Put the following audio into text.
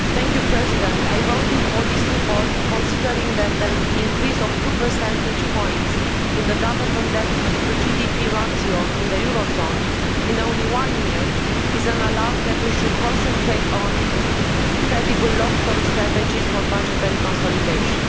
Mr President, I voted for this report, considering that an increase of two percentage points in the government debt to GDP ratio in the eurozone in only one year is a warning that we should concentrate on credible long term strategies for budgetary consolidation.